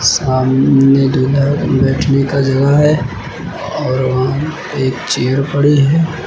सामने दूल्हा बैठने का जगह है और वहां पे एक चेयर पड़ी है।